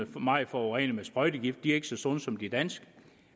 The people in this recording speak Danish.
meget forurenede af sprøjtegifte og ikke så sunde som de danske